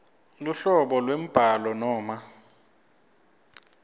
luhlobo lwembhalo noma